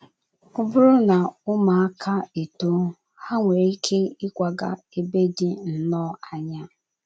Ọ bụrụ na ụmụaka etoo, ha nwere ike ịkwaga n’ebe dị nnọọ anya.